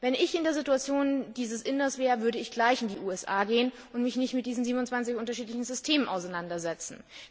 Wenn ich in der Situation dieses Inders wäre, würde ich gleich in die USA gehen und mich nicht mit diesen 27 unterschiedlichen Systemen auseinandersetzen.